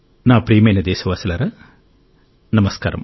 నా ప్రియమైన దేశ వాసులారా నమస్కారం